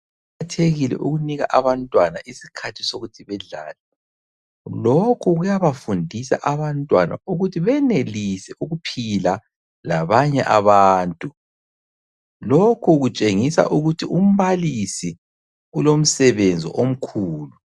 Kuqakathekile ukunika abantwana isikhathi sokuthi badlale. Lokhu kuyabafundisa abantwana ukuthi benelise ukuphila labanye abantu. Lokhu kutshengisa ukuthi umbalisi ulomsebenzi omkhulu.